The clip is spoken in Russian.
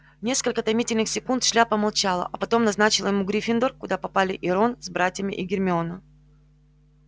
несколько томительных секунд шляпа молчала а потом назначила ему гриффиндор куда попали и рон с братьями и гермиона